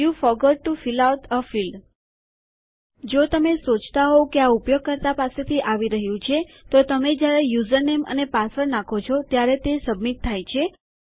you forgot to fill out a field જો તમે સોચતા હોવ કે આ ઉપયોગકર્તા પાસેથી આવી રહ્યું છે તો તમે જયારે યુઝરનેમ અને પાસવર્ડ નાખો છો ત્યારે સબમિટ થાય છે